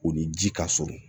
O ni ji ka surun